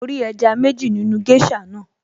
Mo rí ẹja méjì nínú géṣà naa